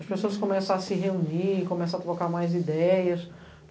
As pessoas começam a se reunir, começam a trocar mais ideias.